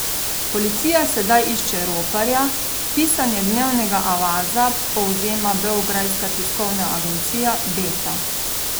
Policija sedaj išče roparja, pisanje Dnevnega avaza povzema beograjska tiskovna agencija Beta.